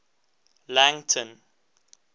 langton